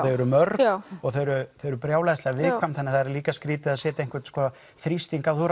eru mörg og þau eru brjálæðislega viðkvæm þannig það er líka skrítið að setja einhvern þrýsting þú